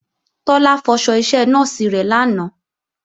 Tọ́lá fọṣọ iṣẹ nọ́ọ̀sì rẹ̀ lánàá